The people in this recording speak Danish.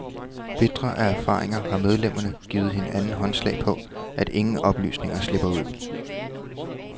Bitre af erfaringer har medlemmerne givet hinanden håndslag på, at ingen oplysninger slipper ud.